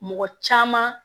Mɔgɔ caman